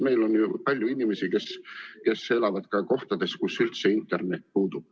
Meil on palju inimesi, kes elavad kohtades, kus üldse internet puudub.